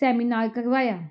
seminar ਕਰਵਾਇਆ